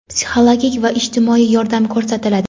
psixologik va ijtimoiy yordam ko‘rsatiladi.